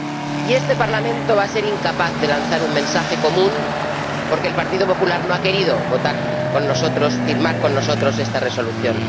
Y este Parlamento va a ser incapaz de lanzar un mensaje común porque el Partido Popular no ha querido votar con nosotros, firmar con nosotros esta Resolución.